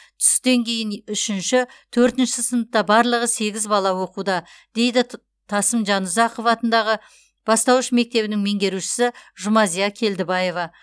түстен кейін үшінші төртінші сыныпта барлығы сегіз бала оқуда дейді т тасым жанұзақов атындағы бастауыш мектебінің меңгерушісі жұмазия келдібаева